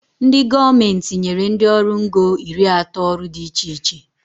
Ndị gọọmenti nyere ndị ọrụ ngo iri atọ ọrụ dị iche iche